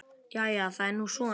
Jæja það er nú svo.